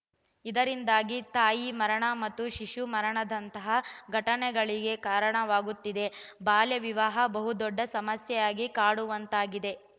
ಇದರಿಂದಾಗಿ ತಾಯಿ ಮರಣ ಮತ್ತು ಶಿಶು ಮರಣದಂತಹ ಘಟನೆಗಳಿಗೆ ಕಾರಣವಾಗುತ್ತಿದೆ ಬಾಲ್ಯವಿವಾಹ ಬಹುದೊಡ್ಡ ಸಮಸ್ಯೆಯಾಗಿ ಕಾಡುವಂತಾಗಿದೆ